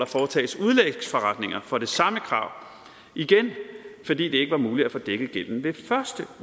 foretages udlægsforretninger for det samme krav igen fordi det ikke var muligt at få dækket gælden ved første